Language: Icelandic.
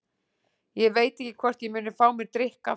Ég veit ekki hvort ég muni fá mér drykk aftur.